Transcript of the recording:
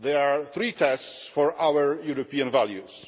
They are three tests for our European values.